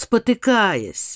потыкаясь